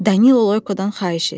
Danilo Loykodan xahiş etdi.